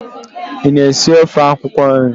Ị na-esi ofe akwụkwọ nri?